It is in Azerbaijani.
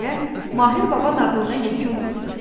deyə Mahir baba nağılına yekun vurdu.